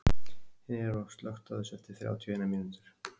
Neró, slökktu á þessu eftir þrjátíu og eina mínútur.